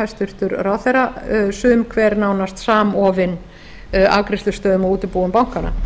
hæstvirtur ráðherra sagði sum hver nánast samofin afgreiðslustöðum og útibúum bankanna ég